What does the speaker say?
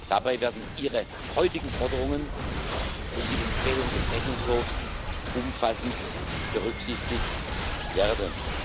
Dabei werden Ihre heutigen Forderungen und die Empfehlungen des Rechnungshofs umfassend berücksichtigt werden.